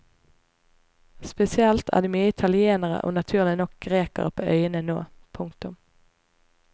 Spesielt er det mye italienere og naturlig nok grekere på øyene nå. punktum